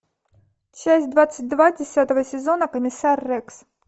часть двадцать два десятого сезона комиссар рекс